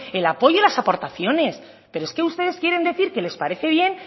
el apoyo y las aportaciones pero es que ustedes quieren decir que les parece bien